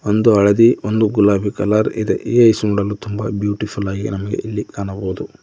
ಒಂದು ಹಳದಿ ಒಂದು ಗುಲಾಬಿ ಕಲರ್ ಇದೆ ಈ ಐಸ್ ನೋಡಲು ತುಂಬಾ ಬ್ಯೂಟಿಫುಲ್ ಆಗಿದೆ ನಮಗೆ ಇಲ್ಲಿ ಕಾಣಬಹುದು.